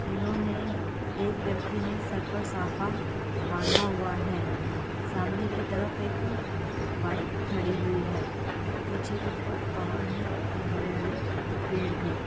इन्होंने एक व्यक्ति ने सर पर साफा बांधा हुआ है सामने की तरफ एक बाइक खड़ी हुई है पीछे की तरफ पहाड़ हैं और हरे-हरे पेड़ भी।